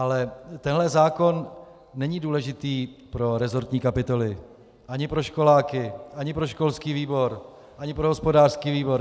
Ale tenhle zákon není důležitý pro resortní kapitoly ani pro školáky ani pro školský výbor ani pro hospodářský výbor.